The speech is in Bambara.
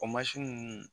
O mansin ninnu